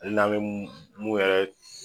A n'an be mun yɛrɛ